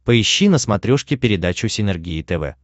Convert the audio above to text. поищи на смотрешке передачу синергия тв